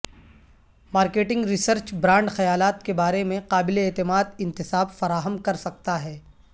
marketing research brand خیالات کے بارے میں قابل اعتماد انتساب فراہم کر سکتا ہے